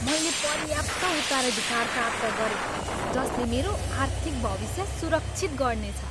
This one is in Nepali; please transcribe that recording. मैले पर्याप्त उत्तराधिकार प्राप्त गरेँ जसले मेरो आर्थिक भविष्य सुरक्षित गर्नेछ।